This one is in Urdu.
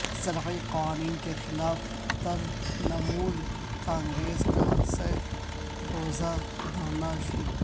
زرعی قوانین کے خلاف ترنمول کانگریس کا سہ روزہ دھرنا شروع